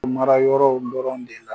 Mara yɔrɔ dɔrɔn de la